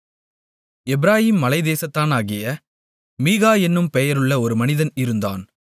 எப்பிராயீம் மலைத்தேசத்தானாகிய மீகா என்னும் பெயருள்ள ஒரு மனிதன் இருந்தான்